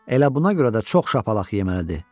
Elə buna görə də çox şapalaq yeməlidir.